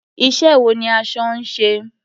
Iṣẹ́ wo ni aṣọ ń ṣe?